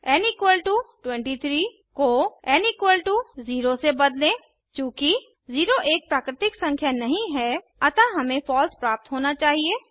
N 23 को N 0 से बदलें चूँकि 0 एक प्राकृतिक संख्या नहीं है अतः हमें फॉल्स प्राप्त होना चाहिए